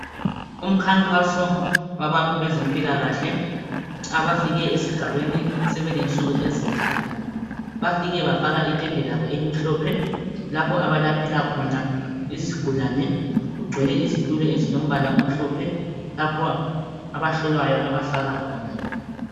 Umkhankaso wabantu bezempilakahle. Abafike esigabeni. Sebelensuku ezintathu. Bafike bafaka itende labo, elimhlophe. Lapho abelaphela khona izigulane. Kugcwele izitulo ezilombala omhlophe. Lapho abahlolwayo, abahlala khona.